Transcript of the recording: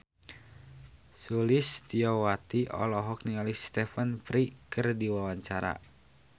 Sulistyowati olohok ningali Stephen Fry keur diwawancara